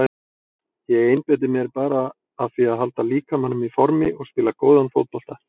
Ég einbeiti mér bara að því að halda líkamanum í formi og spila góðan fótbolta.